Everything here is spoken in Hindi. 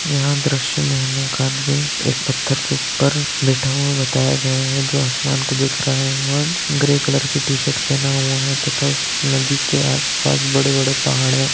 यह दृश्य मे हमें एक आदमी एक पत्थर के ऊपर बैठा हुआ बताया गया है जो आसमान को देख रहा है और ग्रै कलर की टी-शर्ट पहना हुआ है तथा उस नदी के आस पास बड़े बड़े पहाड़ है।